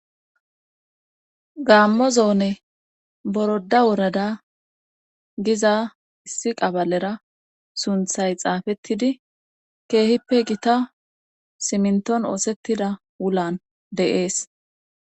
Ggaammo zoone boroda worada giza issi qabalera sunthay xaafettidi keehippe gita siminton oosettida wulan deees.